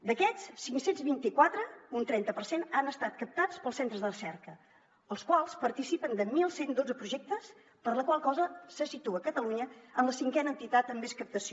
d’aquests cinc cents i vint quatre un trenta per cent han estat captats pels centres de recerca els quals participen de onze deu dos projectes per la qual cosa se situa catalunya en la cinquena entitat amb més captació